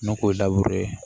N'o ko ye ye